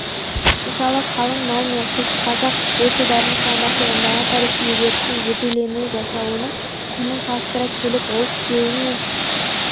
мысалы қалың малмен қыз қазақ ойшылдарының шығармашылығындағы тарихи үдерістің зерделенуі жасауының құнын салыстыра келіп ол күйеу мен